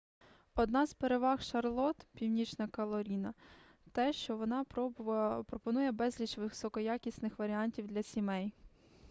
одна з переваг шарлотт північна кароліна те що воно пропонує безліч високоякісних варіантів для сімей